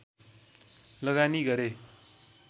लगानी गरे